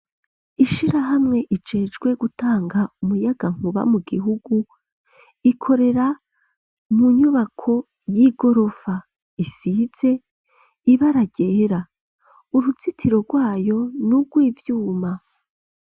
Ishirahamwe ijecwe gutanga umuyagankuba mu gihugu ikorera mu nyubako y'igorofa isitze ibaragera uruzitiro rwayo n'urwivyuma,